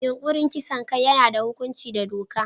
Yunkurin kisan kai yana da hukunci da doka.